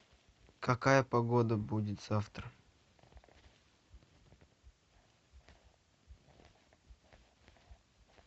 какая погода будет завтра